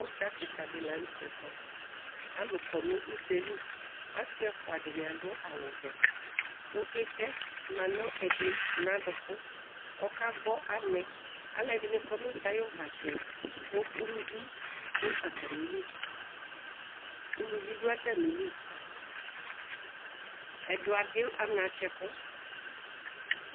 Idza kika di lanu tɛ kɔalu kɔ nʋ ʋdza yɛ liasi ɛfua dini adu awu vɛku itɛ manu ɛdi nu aɖukuɔkagbɔ anɛ alu ɛdini kɔ nu udza ayiʋ uvatsɛku uluvi dʋ atamiliuluvi dʋ atamiliɛdi adʋ anatsɛ kʋ